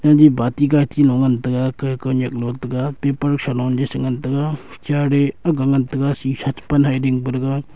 baty gaty lo ngan tega ke kawnyak lo tega paper threloley shengan tega chair e akga ngan tega shisha che pan he dingpa dega.